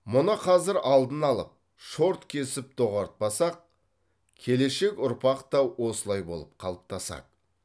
мұны қазір алдын алып шорт кесіп доғартпасақ келешек ұрпақ та осылай болып қалыптасады